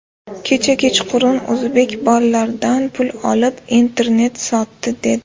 Kecha kechqurun o‘zbek bolalardan pul olib, internet sotdi, dedi.